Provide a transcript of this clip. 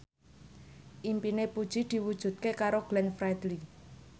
impine Puji diwujudke karo Glenn Fredly